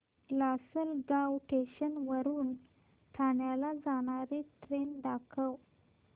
Lasalgaon station वरून ठाण्याला जाणारी ट्रेन दाखव